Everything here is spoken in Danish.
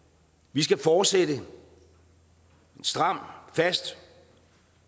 vi skal fortsætte en stram fast